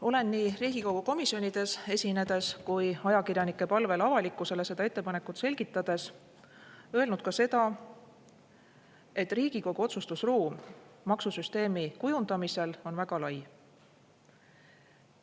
Olen nii Riigikogu komisjonides esinedes kui ajakirjanike palvel avalikkusele seda ettepanekut selgitades öelnud ka seda, et Riigikogu otsustusruum maksusüsteemi kujundamisel on väga lai.